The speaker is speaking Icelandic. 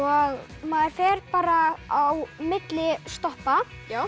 maður fer bara á milli stoppa